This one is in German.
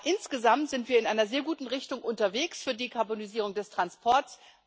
Aber insgesamt sind wir in einer sehr guten Richtung unterwegs für die Karbonisierung des Transports.